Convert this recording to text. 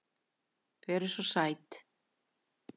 Þau eru SVO SÆT!